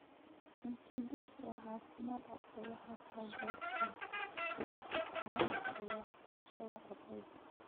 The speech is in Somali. Cunto dugsi oo caafimaad qabta waxay taageertaa feejignaanta iyo waxbarashada ardayda.